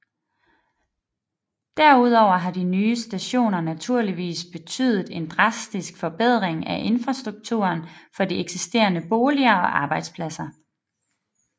Derudover har de nye stationer naturligvis betydet en drastisk forbedring af infrastrukturen for de eksisterende boliger og arbejdspladser